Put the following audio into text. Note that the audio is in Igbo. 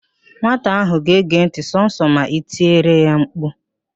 Nwata ahụ ga-ege ntị sọsọ ma i tiri mkpu